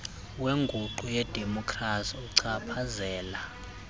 wenguqu yedemokhrasi uchaphazela